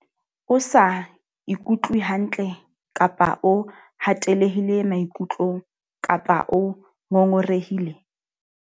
O sa ikutlwe hantle kapa o hatellehile maikutlong kapa o ngongorehile?